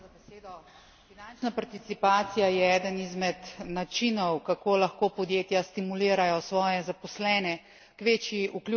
Finančna participacija je eden izmed načinov, kako lahko podjetja stimulirajo svoje zaposlene k večji vključenosti.